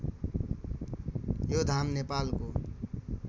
यो धाम नेपालको